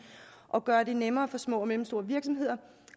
at gøre det nemmere for små og mellemstore virksomheder